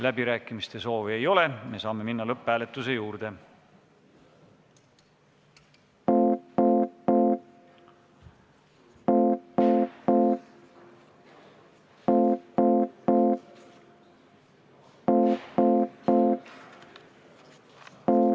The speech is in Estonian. Läbirääkimiste soovi ei ole, me saame minna lõpphääletuse juurde.